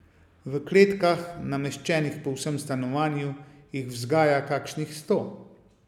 V kletkah, nameščenih po vsem stanovanju, jih vzgaja kakšnih sto.